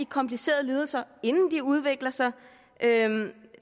komplicerede lidelser inden de udvikler sig